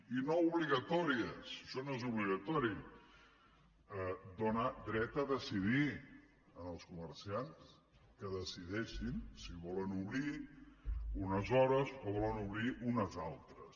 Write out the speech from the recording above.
i no obligatòries això no és obligatori dóna dret a decidir als comerciants que decideixin si volen obrir unes hores o volen obrir unes altres